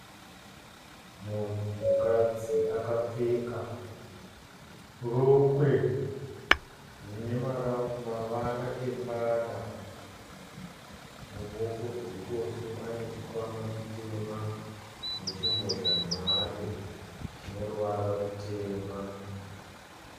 Mukadzi akapfeka rokwe rine mavara embada muruoko rweruboshwe ane chikwama chitema nechimbozha nhare chine ruvara rutema.